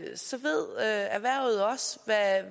så ved erhvervet også